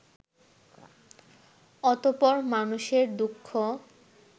অতঃপর মানুষের দুঃখ